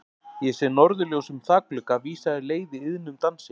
Ég sé norðurljós um þakglugga vísa þér leið í iðnum dansi.